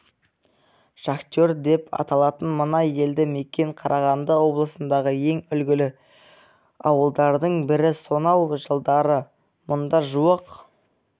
шахтер деп аталатын мына елді мекен қарағанды облысындағы ең үлгілі ауылдардың бірі сонау жылдары мұнда жуық